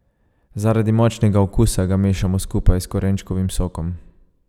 Zaradi močnega okusa ga mešamo skupaj s korenčkovim sokom.